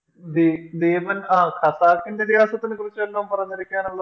B ഭീമൻ ആഹ് ഖസാക്കിൻറെ ഇതിഹാസത്തിനെ കുറിച്ച് വല്ലോം പറഞ്ഞിരിക്കാനുള്ള